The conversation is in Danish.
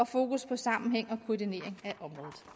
fokus på sammenhæng